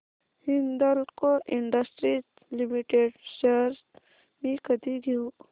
Hindalco industries limited shares मी कधी घेऊ